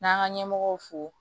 N'an ka ɲɛmɔgɔw fo